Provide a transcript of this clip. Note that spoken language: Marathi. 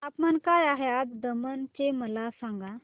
तापमान काय आहे आज दमण चे मला सांगा